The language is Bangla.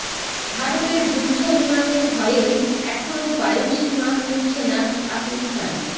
ভারতের যুদ্ধ বিমানের ভয়েই এখনো বায়ুসীমা খুলছে না পাকিস্তান